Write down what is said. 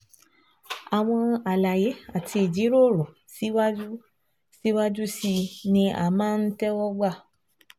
Àwọn àlàyé àti ìjíròrò síwájú síwájú sí i ni a máa ń tẹ́wọ́ gbà